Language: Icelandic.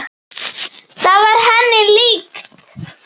Það var henni líkt.